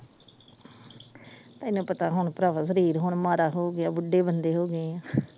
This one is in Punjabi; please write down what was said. ਤੈਨੂੰ ਪਤਾ ਹੁਣ ਭਰਾਵਾ ਸ਼ਰੀਰ ਹੁਣ ਮਾੜਾ ਹੋ ਗਿਆ ਬੁੱਢੇ ਬੰਦੇ ਹੋਗਏ ਆ।